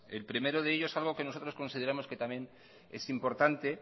el primero de ellos es algo que nosotros consideramos que también es importante